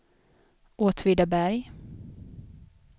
Åtvidaberg